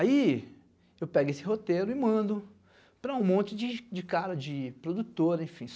Aí eu pego esse roteiro e mando para um monte de cara de produtora, enfim.